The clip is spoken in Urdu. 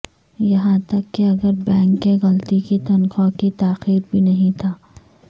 یہاں تک کہ اگر بینک کے غلطی کی تنخواہ کی تاخیر بھی نہیں تھا